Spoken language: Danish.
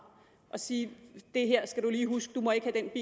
og sige det her skal du lige huske du må ikke have den